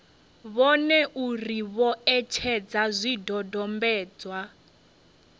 vhone uri vho etshedza zwidodombedzwa